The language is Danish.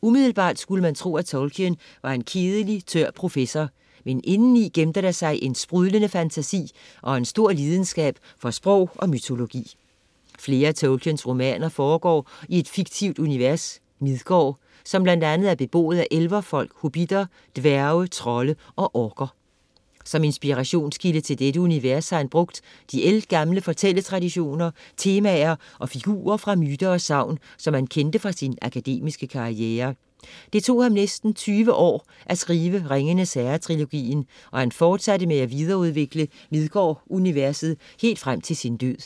Umiddelbart kunne man tro, at Tolkien var en kedelig tør professor, men indeni gemte der sig en sprudlende fantasi og en stor lidenskab for sprog og mytologi. Flere af Tolkiens romaner foregår i et fiktivt univers, Midgård, som blandt andet er beboet af elverfolk, hobitter, dværge, trolde og orker. Som inspirationskilde til dette univers har han brugt de ældgamle fortælletraditioner, temaer og figurer fra myter og sagn, som han kendte fra sin akademiske karriere. Det tog ham næsten 20 år at skrive Ringenes Herre-trilogien, og han fortsatte med at videreudvikle midgård-universet helt frem til sin død.